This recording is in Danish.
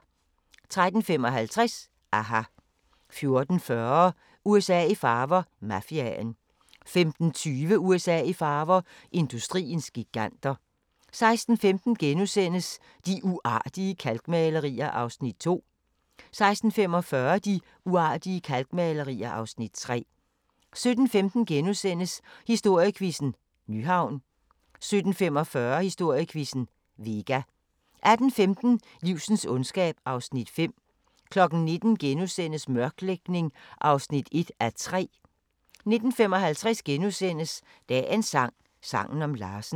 13:55: aHA! 14:40: USA i farver – Mafiaen 15:25: USA i farver – industriens giganter 16:15: De uartige kalkmalerier (Afs. 2)* 16:45: De uartige kalkmalerier (Afs. 3) 17:15: Historiequizzen: Nyhavn * 17:45: Historiequizzen: Vega 18:15: Livsens ondskab (Afs. 5) 19:00: Mørklægning (1:3)* 19:55: Dagens sang: Sangen om Larsen *